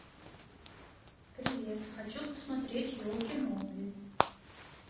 привет хочу посмотреть елки новые